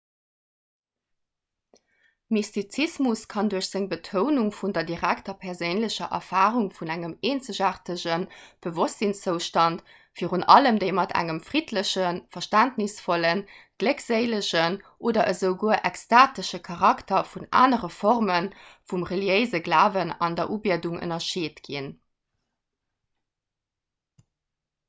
mystizismus kann duerch seng betounung vun der direkter perséinlecher erfarung vun engem eenzegaartege bewosstsinnszoustand virun allem déi mat engem friddlechen verständnisvollen gléckséilegen oder esouguer extatesche charakter vun anere forme vum reliéise glawen an der ubiedung ënnerscheet ginn